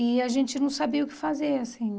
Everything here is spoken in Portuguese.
E a gente não sabia o que fazer, assim.